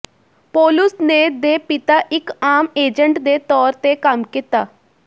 ਪੌਲੁਸ ਨੇ ਦੇ ਪਿਤਾ ਇੱਕ ਆਮ ਏਜੰਟ ਦੇ ਤੌਰ ਤੇ ਕੰਮ ਕੀਤਾ